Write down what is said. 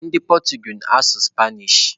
Ndị Portuguese na-asụ Spanish.